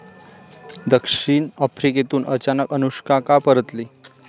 दक्षिण आफ्रिकेतून अचानक अनुष्का का परतली?